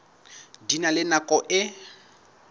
di na le nako e